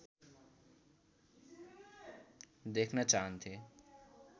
देख्न चाहन्थे